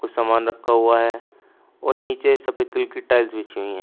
कुछ सामान रखा हुआ है और नीचे सफेद कलर की टाइल्स बिछी हुई हैं।